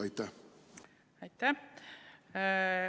Aitäh!